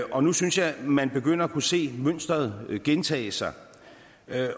og nu synes jeg at man begynder at kunne se et mønster gentage sig